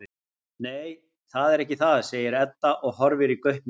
Nei, það er ekki það, segir Edda og horfir í gaupnir sér.